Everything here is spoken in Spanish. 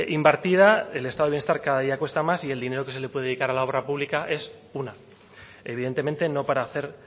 invertida el estado de bienestar cada día cuesta más y el dinero que se le puede dedicar a la obra pública es una evidentemente no para hacer